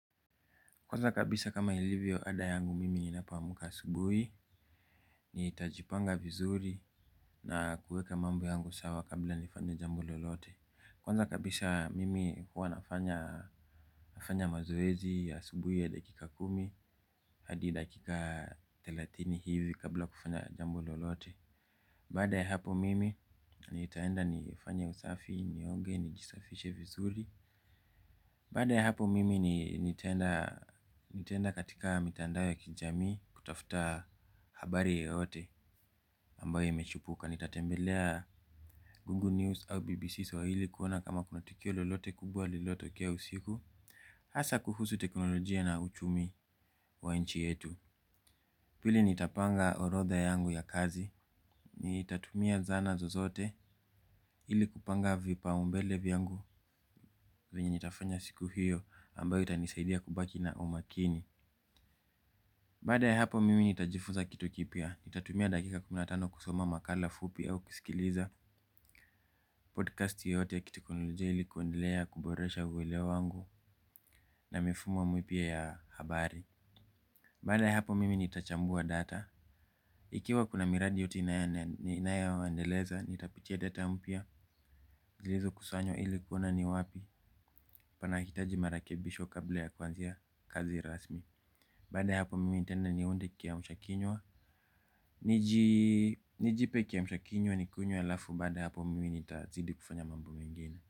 Kwanza kabisha kama ilivyo ada yangu mimi ninapoamka asubuhi. Nitajipanga vizuri na kuweka mambo yangu sawa kabla nifanye jambo lolote. Kwanza kabisa mimi huwa nafanya mazoezi ya asubuhi ya dakika kumi hadi dakika thelathini hivi kabla kufanya jambo lolote. Baada ya hapo mimi nitaenda nifanye usafi, nioge, nijisafishe vizuri. Baada ya hapo mimi nitaenda katika mitandao ya kijamii kutafuta habari yoyote ambayo imechipuka. Nitatembelea Google News au BBC swahili kuona kama kuna tukio lolote kubwa lililotokea usiku. Hasa kuhusu teknolojia na uchumi wa nchi yetu. Pili nitapanga orodha yangu ya kazi, nitatumia zana zozote ili kupanga vipaumbele vyangu. Vyenye nitafanya siku hiyo ambayo itanisaidia kubaki na umakini. Baada ya hapo mimi nitajifunza kitu kipya, nitatumia dakika kumi na tano kusoma makala fupi au kusikiliza podcast yoyote ya kiteknolojia ili kuendelea kuboresha uelewa wangu na mifumo mipya ya habari. Baada ya hapo mimi nitachambua data, ikiwa kuna miradi yoyote ninayoendeleza, nitapitia data mpya zilizokusanywa ili kuona ni wapi panahitaji marakebisho kabla ya kuanzia kazi rasmi. Baada hapo mimi nitaenda niunde kiamsha kinywa. Nijipe kiamsha kinywa nikunywe halafu baada ya hapo mimi nitazidi kufanya mambo mengine.